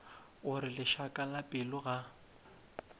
gore lešaka la pelo ga